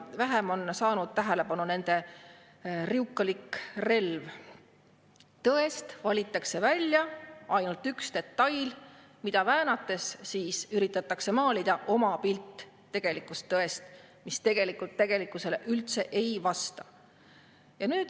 Vähem on saanud tähelepanu nende riukalik relv – tõest valitakse välja ainult üks detail, mida väänates üritatakse maalida oma pilt, mis tegelikkusele üldse ei vasta.